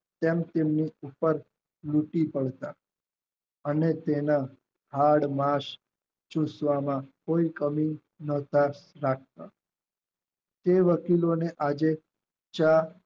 તેમ સૂર્ય કુકર લૂંટી પડતા અને તેના હાડમાંસ ચૂસવામાં કોઈ કંઈ તે વકીલોને આજે ચ